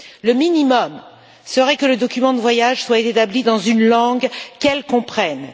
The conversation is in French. Le minimum serait que le document de voyage soit établi dans une langue qu'elles comprennent.